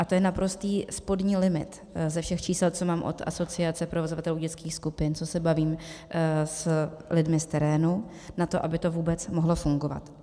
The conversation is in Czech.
A to je naprostý spodní limit ze všech čísel, co mám od Asociace provozovatelů dětských skupin, co se bavím s lidmi z terénu, na to, aby to vůbec mohlo fungovat.